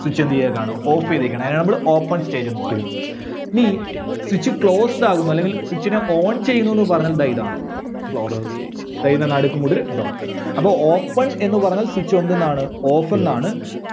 Switch എന്ത് ചെയ്തേക്കുവാണ്? Off ചെയ്തേക്കുവാണ്. അതിനെ നമ്മള് open stage ന്ന് പറയുന്നത്. ഇനി Switch closed ആകും അല്ലെങ്കിൽ Switch നെ ON ചെയ്യന്നൂന്ന് പറഞ്ഞാൽ ദേ ഇതാണ് Closed stage. ദാ ഇതിൻറെ നടുക്ക് കൊണ്ടൊരു dot ഇടുക. അപ്പോ open എന്ന് പറഞ്ഞാൽ switch എന്തെന്നാണ് off ന്നാണ്